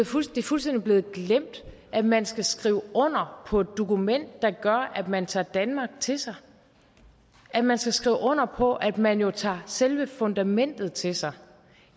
fuldstændig blevet glemt at man skal skrive under på et dokument der gør at man tager danmark til sig at man skal skrive under på at man jo tager selve fundamentet til sig